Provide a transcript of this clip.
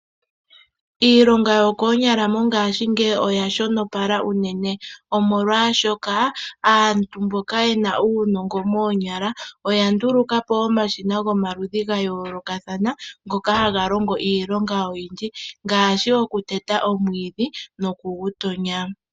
Iilonga yokoonyala mongaashingeyi oya shonopala unene, omolwaashoka aantu mboka yena uunongo moonyala oya nduluka po omashina gomaludhi ga yoolokathana, ngoka haga longo iilonga oyindji ngaashi oku teta omwiidhi noku gu tonya.